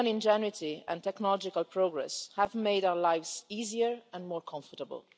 Human ingenuity and technological progress have made our lives easier and more comfortable.